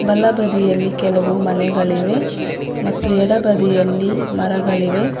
ಬಲಬದಿಯಲ್ಲಿ ಕೆಲವು ಮನೆಗಳಿವೆ ಮತ್ತು ಎಡಬಿದಯಲ್ಲಿ ಮರಗಳಿವೆ.